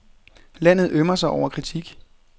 Landet ømmer sig over kritik.